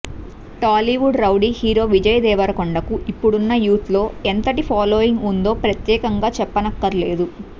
Tollywood rowdy hero Vijay Devarakonda కు ఇప్పుడున్న youth లో ఎంతటి ఫాలోయింగ్ ఉందో ప్రత్యేకంగా చెప్పనక్కర్లేదు